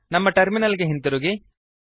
ನಮ್ಮ ಟರ್ಮಿನಲ್ ಗೆ ಹಿಂತಿರುಗಿ